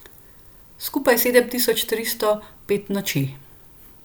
Skupaj sedem tisoč tristo pet noči.